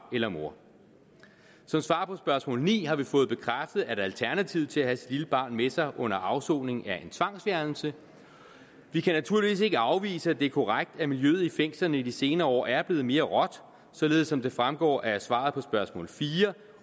eller mor som svar på spørgsmål ni har vi fået bekræftet at alternativet til at have sit lille barn med sig under afsoningen er en tvangsfjernelse vi kan naturligvis ikke afvise at det er korrekt at miljøet i fængslerne i de senere år er blevet mere råt således som det fremgår af svaret på spørgsmål fire